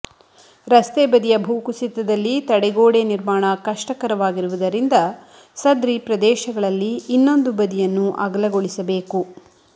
ರಸ್ತೆ ಬದಿಯ ಭೂ ಕುಸಿತದಲ್ಲಿ ತಡೆಗೋಡೆ ನಿರ್ಮಾಣ ಕಷ್ಟಕರವಾಗಿರುವುದರಿಂದ ಸದ್ರಿ ಪ್ರದೇಶಗಳಲ್ಲಿ ಇನ್ನೊಂದು ಬದಿಯನ್ನು ಅಗಲಗೊಳಿಸಬೇಕು